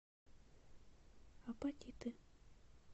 апатиты